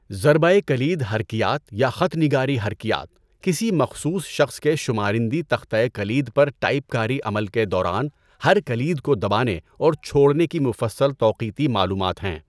ضربۂ کلید حرکیات یا خط نگاری حرکیات، کسی مخصوص شخص کے شمارندی تختۂ کلید پر ٹائپکاری عمل کے دوران ہر کلید کو دبانے اور چھوڑنے کی مفصّل توقیتی معلومات ہیں۔